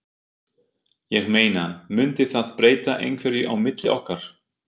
Ég meina. mundi það breyta einhverju á milli okkar.